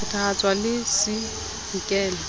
e phethahatswe le c nkela